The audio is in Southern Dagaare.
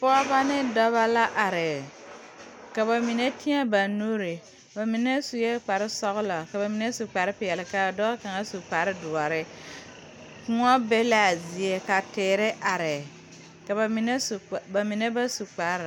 Pɔgeba ne dɔba la are ka ba mine teɛ ba nuuri bamine sue kpare sɔgla ka ba mine su kpare peɛle ka a dɔɔ kaŋ su kpare doɔre kõɔ be la a zie ka teere are ka ba mine su kparre ba mine ba su kparre.